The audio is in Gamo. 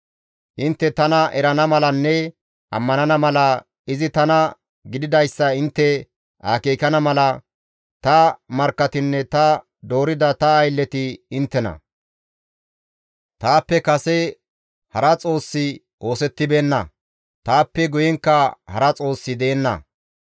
«Intte tana erana malanne ammanana mala, izi tana gididayssa intte akeekana mala, ta markkatinne ta doorida ta aylleti inttena. Taappe kase hara xoossi oosettibeenna; taappe guyenkka hara xoossi deenna.